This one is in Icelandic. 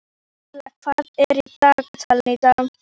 Erla, hvað er í dagatalinu í dag?